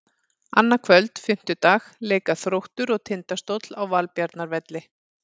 Annað kvöld, fimmtudag, leika Þróttur og Tindastóll á Valbjarnarvelli.